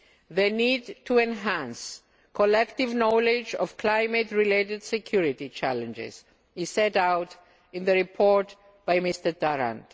They need to enhance collective knowledge of climate related security challenges, as set out in the report by Mr Tarand.